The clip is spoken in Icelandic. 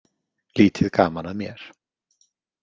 Lítið gaman að mér.